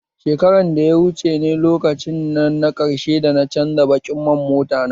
Shakarar da ya wuce ne lokaci na ƙarshe dana canza baƙin man motana